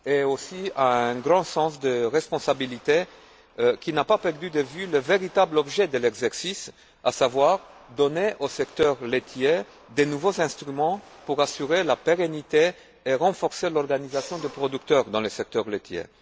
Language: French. ainsi qu'à un grand sens des responsabilités qui n'a pas perdu de vue le véritable objet de l'exercice, à savoir donner au secteur laitier de nouveaux instruments pour assurer la pérennité et renforcer l'organisation des producteurs dans le secteur laitier.